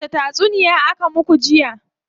Wace tatsuniya aka muku jiya?